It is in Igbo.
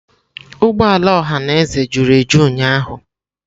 Ụgbọ ala ọhaneze juru eju ụnyahụ.